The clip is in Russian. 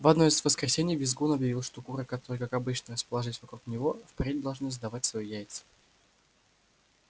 в одно из воскресений визгун объявил что куры которые как обычно расположились вокруг него впредь должны сдавать свои яйца